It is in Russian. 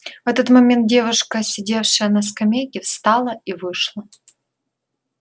в этот момент девушка сидевшая на скамейке встала и вышла